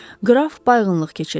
Qraf bayğınlıq keçirirdi.